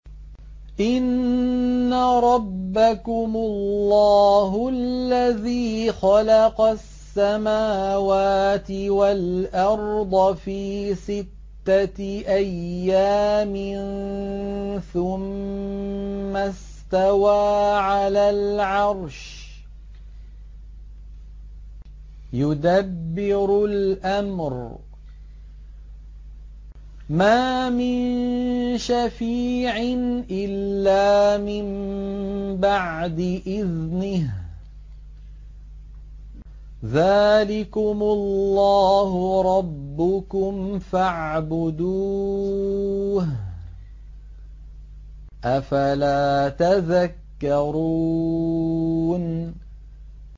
إِنَّ رَبَّكُمُ اللَّهُ الَّذِي خَلَقَ السَّمَاوَاتِ وَالْأَرْضَ فِي سِتَّةِ أَيَّامٍ ثُمَّ اسْتَوَىٰ عَلَى الْعَرْشِ ۖ يُدَبِّرُ الْأَمْرَ ۖ مَا مِن شَفِيعٍ إِلَّا مِن بَعْدِ إِذْنِهِ ۚ ذَٰلِكُمُ اللَّهُ رَبُّكُمْ فَاعْبُدُوهُ ۚ أَفَلَا تَذَكَّرُونَ